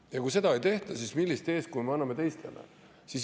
Ja kui seda ei tehta, siis millist eeskuju me anname teistele?